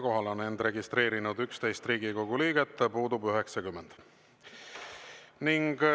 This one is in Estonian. Kohale on end registreerinud 11 Riigikogu liiget, puudub 90.